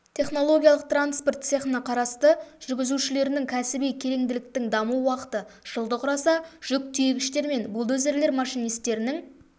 технологиялық транспорт цехына қарасты жүргізушілерінің кәсіби кереңділіктің даму уақыты жылды құраса жүк тиегіштер мен бульдозерлер машинистерінің